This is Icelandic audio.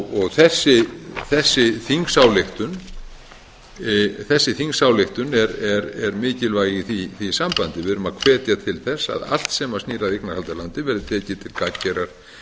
og þessi þingsályktun er mikilvæg í því sambandi við erum að hvetja til þess að allt sem snýr að eignarhaldi á landi verði tekið til gagngerðrar